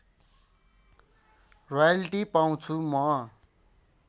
royalty पाउँछु म